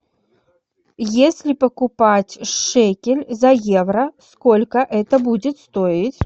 если покупать шекель за евро сколько это будет стоить